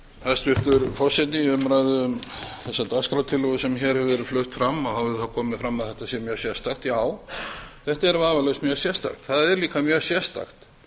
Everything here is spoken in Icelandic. hæstvirtur forseti í umræðu um þessa dagskrártillögu sem hér hefur verið flutt fram þá hefur það komið fram að þetta er mjög sérstakt þetta er vafalaust mjög sérstakt og það er líka mjög sérstakt